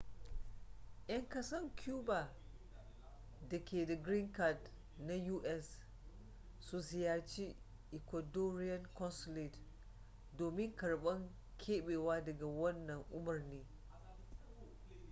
yan kasan cuba da ke da green card na us su ziyarci ecuadorian consulate domin karban kebewa daga wannan umurni